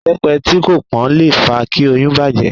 Ìbẹ́pe tí kò pón le fa kí oyún bàjẹ́.